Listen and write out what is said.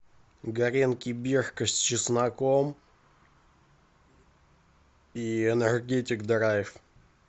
гренки бирка с чесноком и энергетик драйв